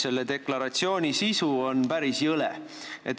Selle deklaratsiooni sisu on aga päris jõle.